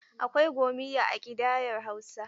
Akwai gomiyya a ƙidayar Hausa.